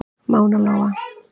Mána Lóa.